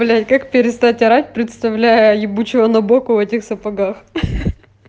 блять как перестать орать представляя ебучего набокова в этих сапогах хи-хи